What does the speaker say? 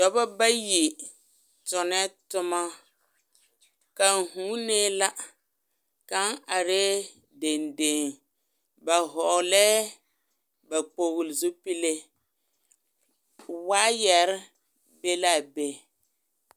Dɔba bayi tonɛɛ toma, kaŋ huunee la, kaŋ arɛɛ dendeŋe ba hɔgelɛɛ ba kpogili zupile waayɛre be la a be.